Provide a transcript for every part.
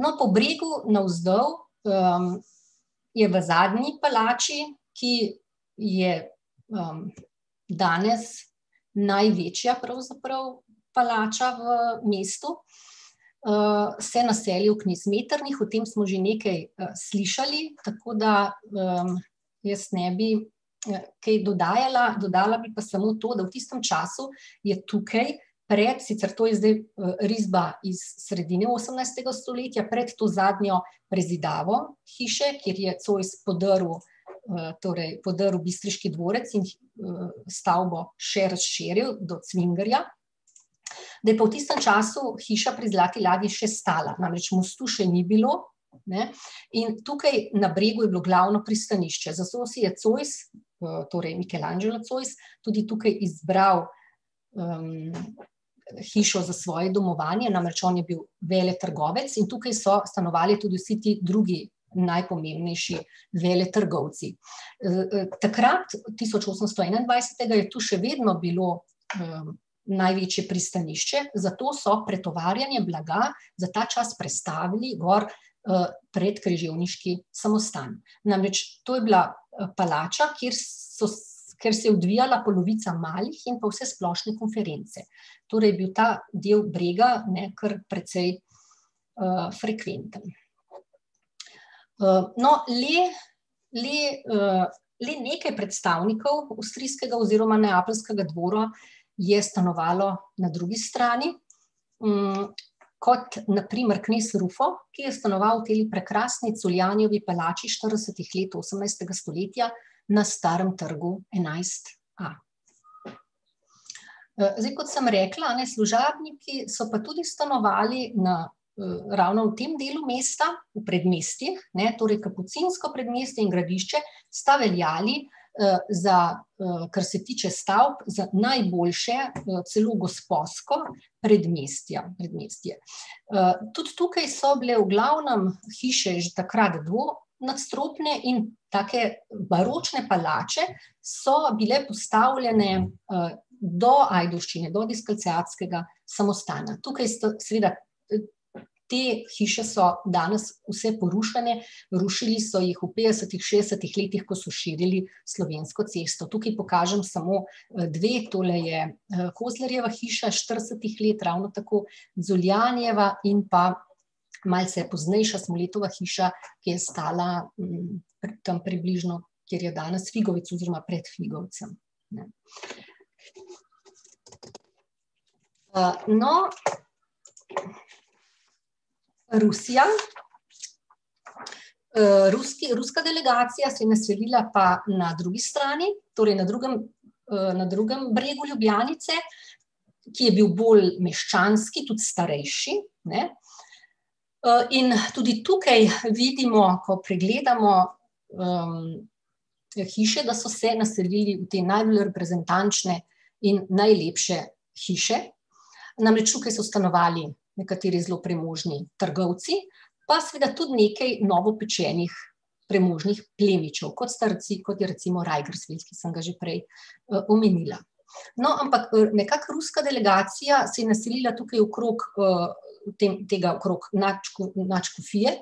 No, po Bregu navzdol, je v zadnji palači, ki je, danes največja pravzaprav palača v mestu, se je naselil knez Metternich, o tem smo že nekaj slišali, tako da, jaz ne bi, kaj dodajala, dodala bi pa samo to, da v tistem času je tukaj pred, sicer to je zdaj risba iz sredine osemnajstega stoletja, pred to zadnjo prezidavo hiše, kjer je Zois podrl, torej podrl bistriški dvorec in, stavbo še razširil do Cvingerja, da je pa v tistem času hiša pri Zlati ladji še stala, namreč mostu še ni bilo, ne, in tukaj na Bregu je bilo glavno pristanišče, zato si je Zois, torej Michelangelo Zois, tudi tukaj izbral, hišo za svoje domovanje, namreč on je bil veletrgovec in tukaj so stanovali tudi vsi ti drugi najpomembnejši veletrgovci. takrat, tisoč osemsto enaindvajsetega, je tu še vedno bilo, največje pristanišče, zato so pretovarjanje blaga za ta čas prestavili gor, pred križevniški samostan, namreč to je bila palača, kjer so kjer se je odvijala polovica malih in pa vsesplošne konference. Torej je bil ta del brega, ne, kar precej, frekventen. no, le, le, le nekaj predstavnikov avstrijskega oziroma neapeljskega dvora je stanovalo na drugi strani, kot na primer knez Rufo, ki je stanoval v tej prekrasni Culjanovi palači štiridesetih let osemnajstega stoletja na Starem trgu enajst a. zdaj, kot sem rekla, a ne, služabniki so pa tudi stanovali na, ravno v tem delu mesta, v predmestjih, ne, torej kapucinsko predmestje in gradišče sta veljali, za, kar se tiče stavb, za najboljše, celo gosposko predmestja, predmestje. tudi tukaj so bile v glavnem hiše že takrat dvonadstropne in take baročne palače so bile postavljene, do Ajdovščine, do samostana, tukaj so seveda, te hiše so danes vse porušene, rušili so jih v petdesetih, šestdesetih letih, ko so širili Slovensko cesto, tukaj pokažem samo, dve, tole je Kozlerjeva hiša iz štiridesetih let, ravno tako Zoljanjeva in pa malce poznejša Smoletova hiša, ki je stala, tam približno, kjer je danes Figovec oziroma pred Figovcem, ne. no ... Rusija. ruska delegacija se je naselila pa na drugi strani, torej na drugem, na drugim bregu Ljubljanice, ki je bil bolj meščanski, tudi starejši, ne. in tudi tukaj vidimo, ko pregledamo, te hiše, da so se naselili v te najbolj reprezentančne in najlepše hiše. Namreč tukaj so stanovali nekaterih zelo premožni trgovci, pa seveda tudi nekaj novopečenih premožnih plemičev, kot sta kot je recimo Reigensvit, ki sem ga že prej, omenila. No, ampak, nekako ruska delegacija se je naselila tukaj okrog, tega okrog nadškofije,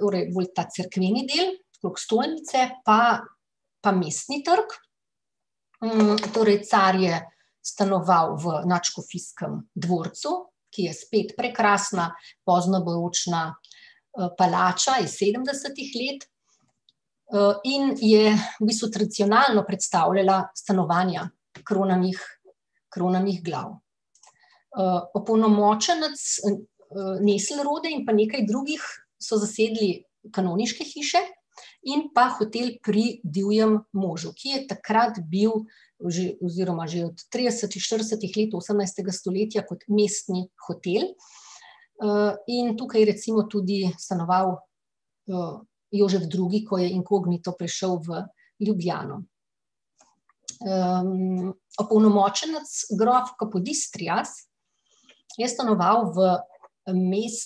torej bolj ta cerkveni del, okrog stolnice pa pa Mestni trg, torej car je stanoval v nadškofijskem dvorcu, ki je spet prekrasna poznobaročna, palača iz sedemdesetih let. in je v bistvu tradicionalno predstavljala stanovanja kronanih, kronanih glav. opolnomočenec, in pa nekaj drugih so zasedli kanoniške hiše in pa Hotel pri divjem možu, ki je takrat bil že, oziroma že od tridesetih let, štiridesetih let osemnajstega stoletja kot mestni hotel. in tukaj je recimo tudi stanoval, Jožef Drugi, ko je inkognito prišel v Ljubljano. opolnomočenec grof Capodistrias je stanoval v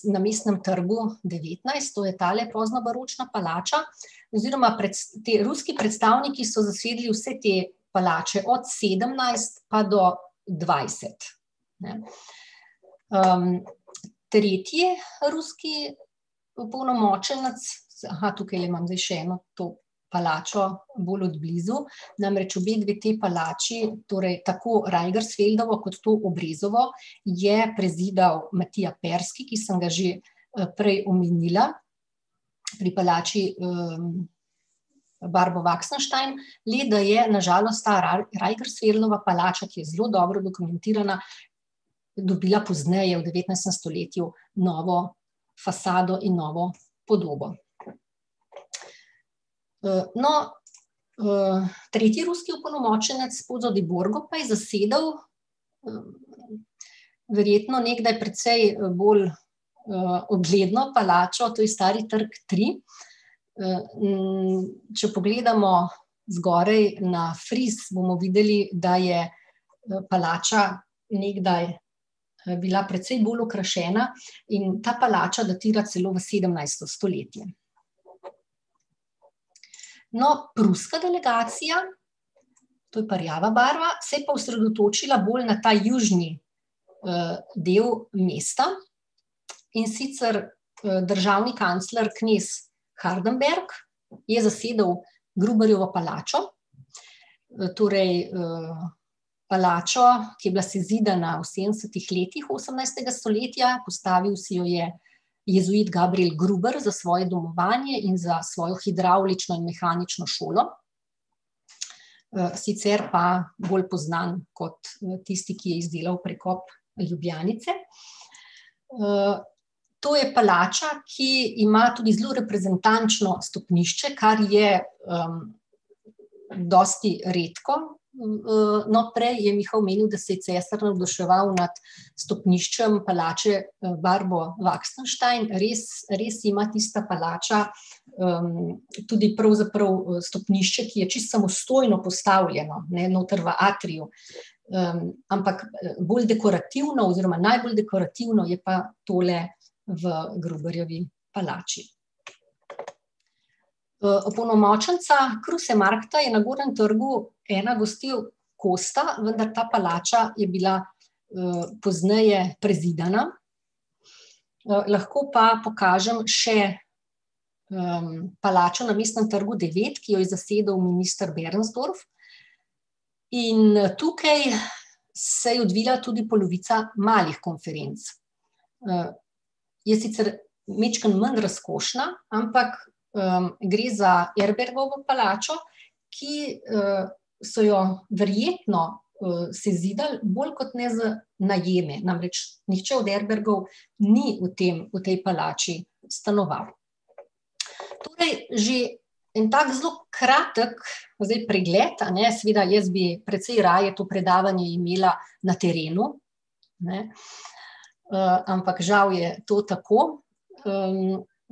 na Mestnem trgu devetnajst, to je tale poznobaročna palača, oziroma, oziroma te ruski predstavniki so zasedli vse te palače, od sedemnajst pa do dvajset, ne. tretji ruski opolnomočenec ... tukajle imam zdaj še eno to palačo bolj od blizu, namreč obedve te palači, torej tako Reigensfeldovo kot to Obrezovo, je prezidal Matija Ferski, ki sem ga že, prej omenila pri palači, Barbovaksenstein, le da je na žalost ta Reigensfeldova palača, ki je zelo dobro dokumentirana, dobila pozneje, v devetnajstem stoletju, novo fasado in novo podobo. no, tretji ruski opolnomočenec, Pozo di Borgo, pa je zasedal, verjetno nekdaj precej bolj, ugledno palačo, to je Stari trg tri, če pogledamo zgoraj na fris, bomo videli, da je, palača nekdaj, bila precej bolj okrašena, in ta palača datira celo v sedemnajsto stoletje. No, pruska delegacija, to je pa rjava barva, se je pa osredotočila bolj na ta južni del mesta, in sicer, državni kancler, knez Hardenberg, je zasedel Gruberjevo palačo, torej, palačo, ki je bila sezidana v sedemdesetih letih osemnajstega stoletja, postavil si jo je jezuit Gabriel Gruber za svoje domovanje in za svojo hidravlično in mehanično šolo. sicer pa bolj poznan kot tisti, ki je izdelal prekop Ljubljanice. to je palača, ki ima tudi zelo reprezentančno stopnišče, kar je, dosti redko. no prej je Miha omenil, da se je cesar navduševal nad stopniščem palače, Barbovaksenstein, res, res ima tista palača, tudi pravzaprav, stopnišče, ki je čisto samostojno postavljeno, ne, noter v atriju. ampak bolj dekorativno oziroma najbolj dekorativno je pa tole v Gruberjevi palači. opolnomočenca Krusemarkta je na Gornjem trgu ena gostil Kosta, vendar ta palača je bila, pozneje prezidana. lahko pa pokažem še palačo na Mestnem trgu devet, ki jo je zasedel minister Bernsdorf. In tukaj se je odvila tudi polovica malih konferenc. je sicer majčkeno manj razkošna, ampak, gre za Erbergovo palačo, ki, so jo verjetno, sezidali bolj kot ne za najeme, namreč nihče od Erbrgov ni v tem, v tej palači stanoval. Torej že en tak zelo kratek zdaj pregled, a ne, seveda jaz bi precej raje to predavanje imela na terenu, ne, ampak žal je to tako.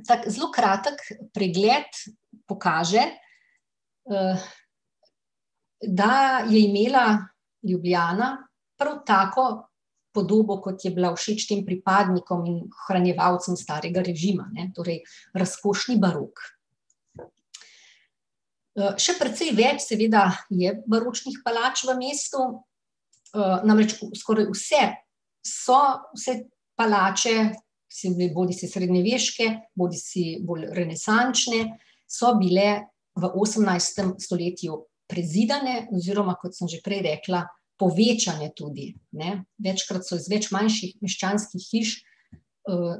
tako zelo kratek pregled pokaže, da je imela Ljubljana prav tako podobo, kot je bila všeč tem pripadnikom in ohranjevalcem starega režima, ne, torej razkošni barok. še precej več seveda je baročnih palač v mestu, namreč skoraj vse so se palače, bodisi srednjeveške bodisi bolj renesančne, so bile v osemnajstem stoletju prezidane oziroma, kot sem že prej rekla, povečane tudi, ne. Večkrat so iz več manjših meščanskih hiš,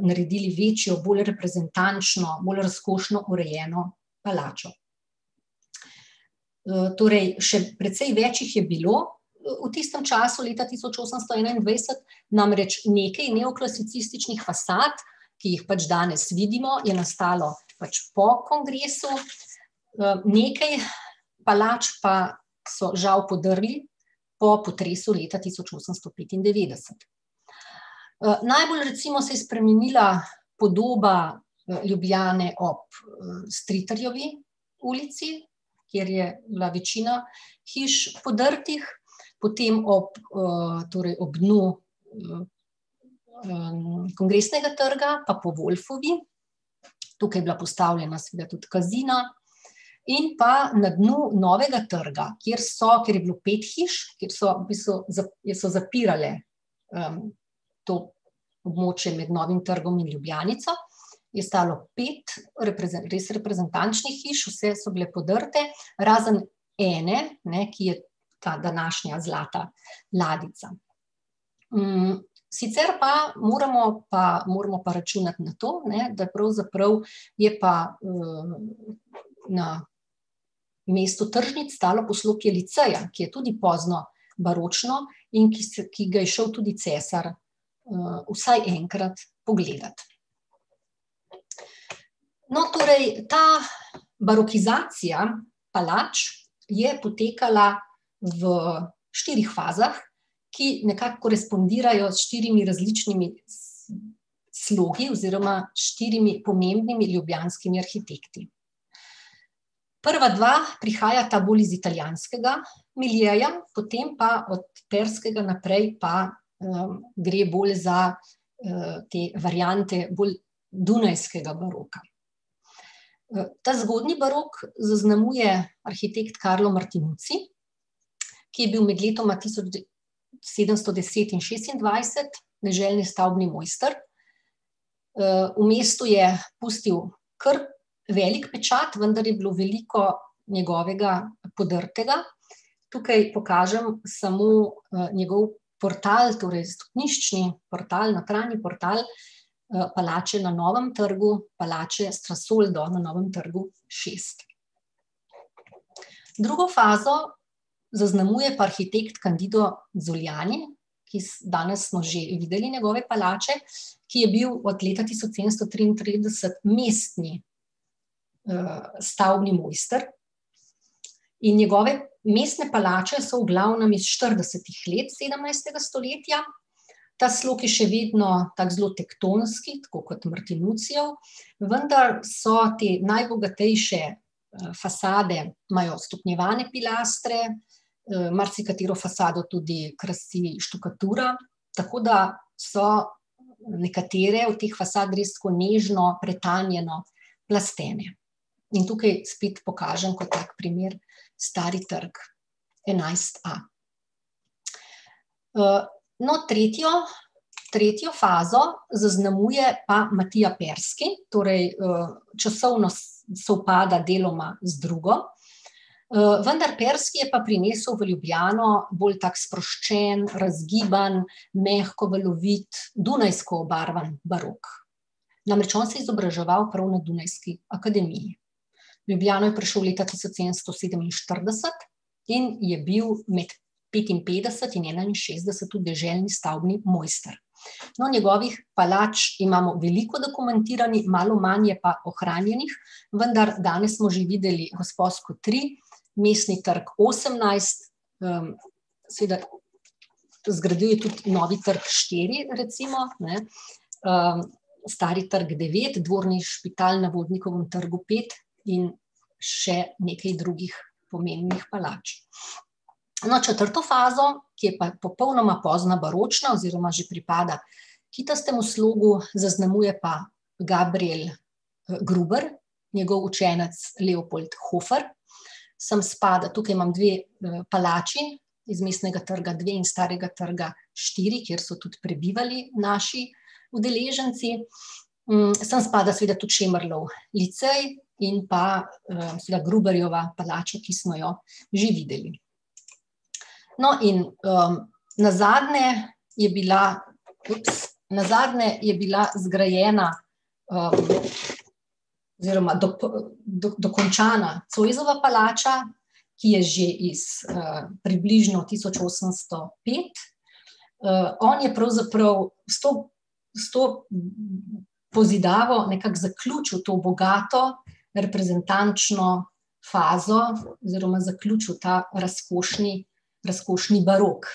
naredili večjo, bolj reprezentančno, bolj razkošno urejeno palačo. torej še precej več jih je bilo, v tistem času, leta tisoč osemsto enaindvajset, namreč nekaj neoklasicističnih fasad, ki jih pač danes vidimo, je nastalo pač po kongresu, nekaj palač pa so žal podrli po potresu leta tisoč osemsto petindevetdeset. najbolj recimo se je spremenila podoba, Ljubljane ob, Stritarjevi ulici, kjer je bila večina hiš podrtih, potem ob, torej ob dnu Kongresnega trga pa po Wolfovi, tukaj je bila postavljena seveda tudi Kazina, in pa na dnu Novega trga, kjer so, kjer je bilo pet hiš, kjer so v bistvu kjer so zapirale, to območje med Novim trgom in Ljubljanico, je stalo pet res reprezentančnih hiš, vse so bile podrte, razen ene, ne, ki je ta današnja Zlata ladjica. sicer pa moramo pa, moramo računati na to, ne, da pravzaprav je pa, na mestu tržnic stalo poslopje liceja, ki je tudi pozno baročno in ki ki ga je šel tudi cesar, vsaj enkrat pogledat. No, torej ta barokizacija palač je potekala v štirih fazah, ki nekako korespondirajo s štirimi različnimi slogi oziroma štirimi pomembnimi ljubljanskimi arhitekti. Prva dva prihajata bolj iz italijanskega miljeja, potem pa od Terskega naprej pa, gre bolj za, te variante bolj dunajskega baroka. ta zgodnji barok zaznamuje arhitekt Karlo Martinuci, ki je bil med letoma tisoč sedemsto deset in šestindvajset deželni stavbni mojster. v mestu je pustil kar velik pečat, vendar je bilo veliko njegovega podrtega. Tukaj pokažem samo, njegov portal, torej stopniščni portal, nakralni portal, palače na Novem trgu, palače s fasoldo na Novem trgu. Drugo fazo zaznamuje pa arhitekt Kandido Zoljani, ki danes smo že videli njegove palače, ki je bil od leta tisoč sedemsto triintrideset mestni, stavbni mojster. In njegove mestne palače so v glavnem iz štiridesetih let sedemnajstega stoletja, ta slog je še vedno tako zelo tektonski, tako kot Martinucijev, vendar so te najbogatejše, fasade imajo stopnjevane filastre, marsikatero fasado tudi krasi štukatura, tako da so nekatere od teh fasad res tako nežno, pretanjeno plastene. In tukaj spet pokažem kot tak primer Stari trg enajst a. no, tretjo, tretjo fazo zaznamuje pa Matija Perski, torej, časovno sovpada deloma z drugo, vendar Perski je pa prinesel v Ljubljano bolj tako sproščen, razgiban, mehko valovit, dunajsko obarvan barok. Namreč on se je izobraževal prav na dunajski akademiji. V Ljubljano je prišel leta tisoč sedemsto sedeminštirideset in je bil med petinpetdeset in enainšestdeset tu deželni stavbni mojster. No, njegovih palač imamo veliko dokumentiranih, malo manj je pa ohranjenih, vendar danes smo že videli Gosposko tri, Mestni trg osemnajst, seveda zgradil je tudi Novi trg štiri recimo, ne, Stari trg devet, Dvorni Špital na Vodnikovem trgu pet in še nekaj drugih pomembnih palač. No, četrto fazo, ki je pa popolnoma pozna baročna oziroma že pripada kitastemu slogu, zaznamuje pa Gabriel Gruber, njegov učenec Leopold Hofer, samo spada, tukaj imam dve palači iz Mestnega trga dve in Starega trga štiri, kjer so tudi prebivali naši udeleženci, sem spada seveda tudi Šemrlov licej in pa, seveda Gruberjeva palača, ki smo jo že videli. No, in, nazadnje je bila ... nazadnje je bila zgrajena, oziroma dokončana Zoisova palača, ki je že iz, približno tisoč osemsto pet. on je pravzaprav s to, s to pozidavo nekako zaključil to bogato reprezentančno fazo oziroma zaključil ta razkošni, razkošni barok.